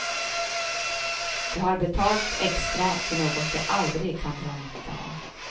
De har betalat extra för något de aldrig kan dra nytta av.